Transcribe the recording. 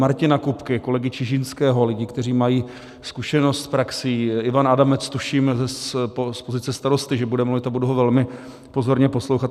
Martina Kupky, kolegy Čižinského, lidí, kteří mají zkušenost z praxe, Ivan Adamec tuším z pozice starosty, že bude mluvit, a budu ho velmi pozorně poslouchat.